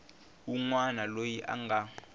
wun wana loyi a nga